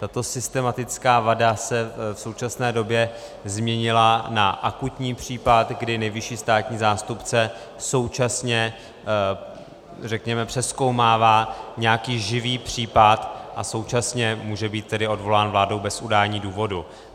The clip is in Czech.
Tato systematická vada se v současné době změnila na akutní případ, kdy nejvyšší státní zástupce současně, řekněme, přezkoumává nějaký živý případ a současně může být tedy odvolán vládou bez udání důvodu.